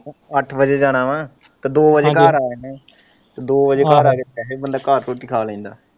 ਅੱਠ ਵਜੇ ਜਾਣਾ ਹੈ ਤੇ ਦੋ ਵਜੇ ਤੇ ਦੋ ਵਜੇ ਘਰ ਆ ਜਾਣਾ ਤੇ ਦੋ ਵਜੇ ਘਰ ਆ ਕੇ ਤੇ ਬੰਦਾ ਘਰ ਦੀ ਰੋਟੀ ਖਾ ਲੈਂਦਾ ਹੈ।